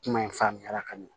Kuma in faamuyala ka ɲɛ